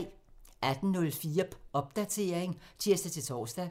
18:04: Popdatering (tir-tor)